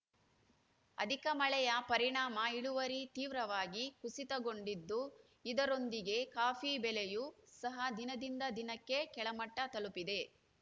ಅಧಿಕ ಮಳೆಯ ಪರಿಣಾಮ ಇಳುವರಿ ತೀವ್ರವಾಗಿ ಕುಸಿತಗೊಂಡಿದ್ದು ಇದರೊಂದಿಗೆ ಕಾಫಿ ಬೆಲೆಯೂ ಸಹ ದಿನದಿಂದ ದಿನಕ್ಕೆ ಕೆಳಮಟ್ಟತಲುಪಿದೆ